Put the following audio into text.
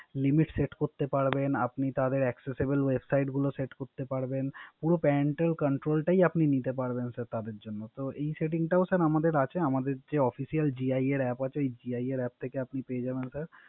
Limit Set করতে পারবেন। আপনি Acsesable website গুলো set করতে পারবে। পুরো Pantel control টাই আপনি নিতে পারবেন তাদের জন্য। তো Setting ও আমাদের আছে। আমাদের Official যে GIA Apps আছে। ওই GIA Apps থেকে আপনি পেয়ে যাবেন।